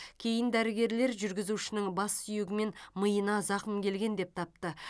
кейін дәрігерлер жүргізушінің бас сүйегі мен миына зақым келген деп тапты